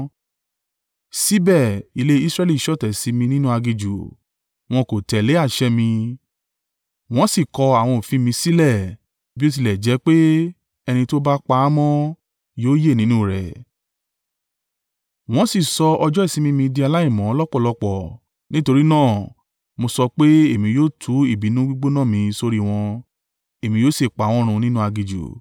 “ ‘Síbẹ̀; ilé Israẹli ṣọ̀tẹ̀ sí mí nínú aginjù. Wọn kò tẹ̀lé àṣẹ mi, wọn sì kọ àwọn òfin mi sílẹ̀ bí ó tilẹ̀ jẹ́ pé ẹni tó bá pa á mọ́ yóò yè nínú rẹ̀. Wọn sì sọ ọjọ́ ìsinmi mi di aláìmọ́ lọ́pọ̀lọ́pọ̀. Nítorí náà, mo sọ pé èmi yóò tú ìbínú gbígbóná mi sórí wọn, èmi yóò sì pa wọ́n run nínú aginjù.